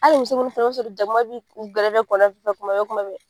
Hali fana u b'a sɔrɔ jakuma b'u gɛrɛ kuma bɛɛ kuma bɛɛ.